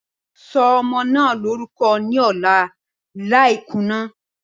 Sọ ọmọ naa lorukọ ni ọla lai kuna!